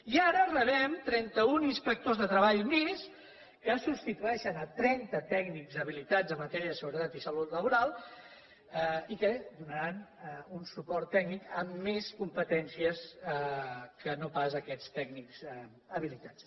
i ara rebem trenta un inspectors de treball més que substitueixen trenta tècnics habilitats en matèria de seguretat i salut laboral i que donaran un suport tècnic amb més competències que no pas aquests tècnics habilitats